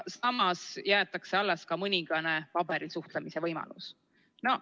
Samas jäetakse alles ka mõningane paberil suhtlemise võimalus.